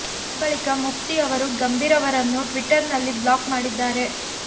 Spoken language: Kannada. ಆ ಬಳಿಕ ಮುಫ್ತಿ ಅವರು ಗಂಭೀರ್ ಅವರನ್ನು ಟ್ವಿಟ್ಟರಿನಲ್ಲಿ ಬ್ಲಾಕ್ ಮಾಡಿದ್ದಾರೆ